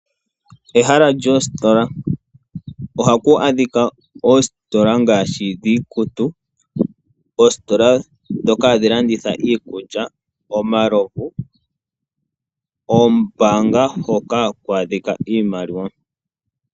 Ehala lyoositola ohaku a dhika ano dhono dhiikutu, dhiikulya, dhomalovu nosho woo oombanga dhoka haku a dhika nohaku pungulwa iimaliwa.